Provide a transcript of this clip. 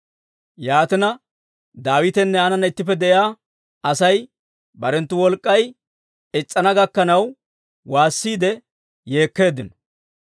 Yaatina, Daawitenne aananna ittippe de'iyaa Asay barenttu wolk'k'ay is's'ana gakkanaw waassiide yeekkeeddino.